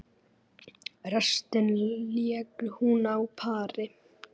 Restina lék hún á pari.